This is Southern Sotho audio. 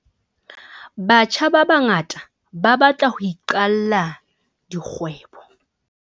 Batjha ba bangata ba batla ho iqalla dikgwebo.